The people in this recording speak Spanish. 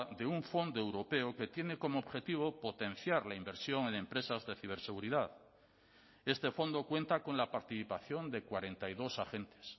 de un fondo europeo que tiene como objetivo potenciar la inversión en empresas de ciberseguridad este fondo cuenta con la participación de cuarenta y dos agentes